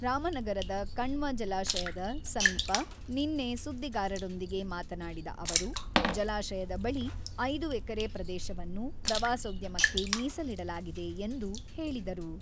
ರಾಮನಗರದ ಕಣ್ವ ಜಲಾಶಯದ ಸಮೀಪ ನಿನ್ನೆ ಸುದ್ದಿಗಾರರೊಂದಿಗೆ ಮಾತನಾಡಿದ ಅವರು, ಜಲಾಶಯದ ಬಳಿ ಐದು ಎಕರೆ ಪ್ರದೇಶವನ್ನು ಪ್ರವಾಸೋದ್ಯಮಕ್ಕೆ ಮೀಸಲಿಡಲಾಗಿದೆ ಎಂದು ಹೇಳಿದರು.